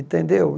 Entendeu?